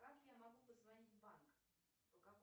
как я могу позвонить в банк по какому